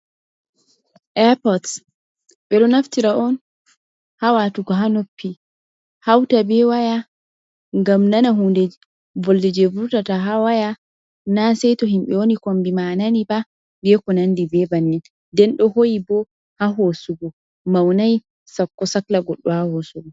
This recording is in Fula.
Airpots ɓeɗo naftira on ha watugo ha noppi hauta be waya ngam nana hunde volde je vurtata ha waya na sai to himbi wani kombi ma nani ba, ɓe ko nandi be bannin, nden ɗo hoyi bo ha hosugu maunai sako sakla goɗɗo ha hosugo.